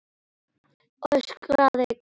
öskraði Garðar.